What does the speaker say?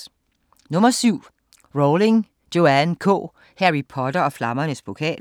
Rowling, Joanne K.: Harry Potter og Flammernes Pokal E-bog 701174